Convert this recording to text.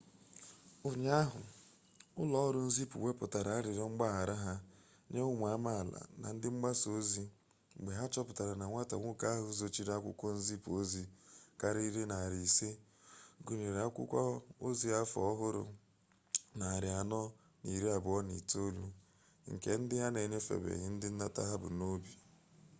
ụnyaahụ ụlọ ọrụ nzipụ wepụtara arịrịọ mgbaghara ha nye ụmụ amaala na ndị mgbasa ozi mgbe ha chọpụtara na nwata nwoke ahụ zochiri akwụkwọ nzipu ozi karịrị narị isii gụnyere akwukwo ozi afọ ọhụrụ narị anọ na iri abụọ na itoolu nke ndị a na-enyefebeghị ndị nnata ha bu n'obi